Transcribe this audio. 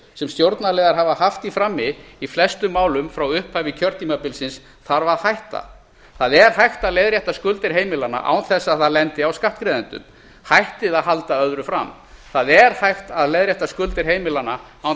sem stjórnarliðar hafa haft í frammi í flestum málum frá upphafi kjörtímabilsins þarf að hætta það er hægt að leiðrétta skuldir heimilanna án þess að það lendi á skattgreiðendum hættið að halda öðru fram það er hægt að leiðrétta skuldir heimilanna án þess að